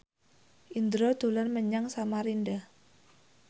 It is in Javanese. Indro dolan menyang Samarinda